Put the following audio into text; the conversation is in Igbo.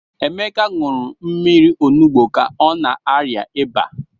Emeka ṅụrụ mmiri onugbu ka ọ na-arịa ịba.